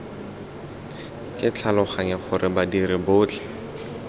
ke tlhaloganya gore badiri botlhe